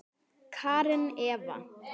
Karen Eva.